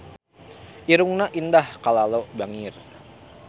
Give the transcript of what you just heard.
Irungna Indah Kalalo bangir